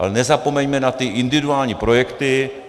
Ale nezapomeňme na ty individuální projekty.